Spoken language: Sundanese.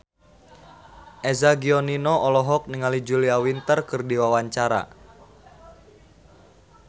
Eza Gionino olohok ningali Julia Winter keur diwawancara